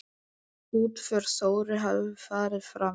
Útför Þóru hefur farið fram.